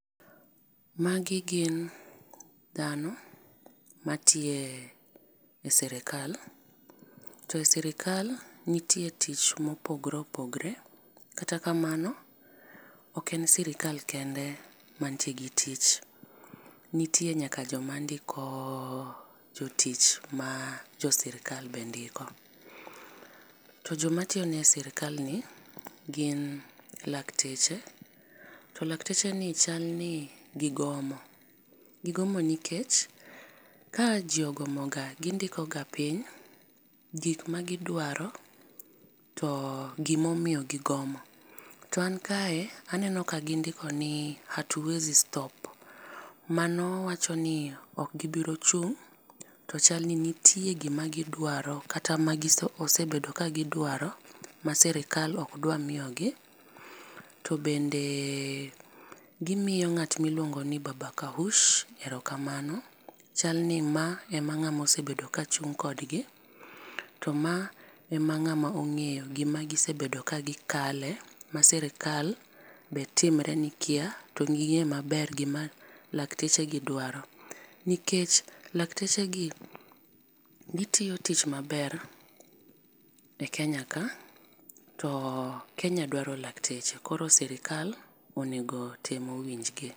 Magi gin dhano ma nitie e sirkal to e sirkal nitie tich ma opogore opogore. Kata kamano ok en sirkal kende man gi tich nitie nyaka jo ma ndiko jotich ma jo sirkal be ndiko. To jo ma tiyo ne sirkal ni gin lakteche. To lakteche gi chal ni gi goma, gi gomo nikech ka ji ogomo ga gi ndiko ga piny gik ma gi dwaro to gi ma omiyo gi gomo. To a kae aneno ka gi ndiko ni hatuwezi stop to mano wach ni ok gi biro chung to chal ni nitie gi ma gi dawro kata ma sebedo ka gi dwaro ma sirkal ok dwar miyo gi. To bende gi miyo ng'at miluongo ni baba kahush erokamano, chal ni ma ema osebedo ka chung kod gi to ma ema ng'ama ongeyo gi ma osebdo ka gi kale ma sirkal be timre ni kia to gi ng'e ma ber gi ma lakteche gi dwaro, nikech lakteche gi gi tiyo tich ma ber e Kenya ka to Kenya dwaro lakteche. Koro sirkal onego otem owinj gi.